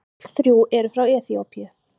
Öll þrjú eru frá Eþíópíu.